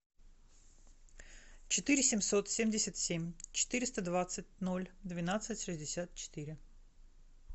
четыре семьсот семьдесят семь четыреста двадцать ноль двенадцать шестьдесят четыре